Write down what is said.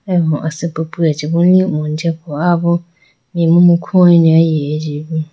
eyamo asipi piya chibu lihone jiya po aya bo imu mai khuwayine ayi eji bo.